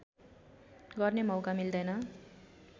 गर्ने मौका मिल्दैन